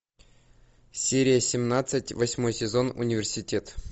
серия семнадцать восьмой сезон университет